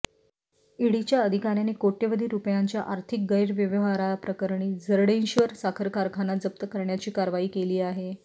ईडीच्या अधिकाऱ्यांनी कोट्यवधी रुपयांच्या आर्थिक गैरव्यवहाप्रकरणी जरंडेश्वर साखर कारखाना जप्त करण्याची कारवाई केली आहे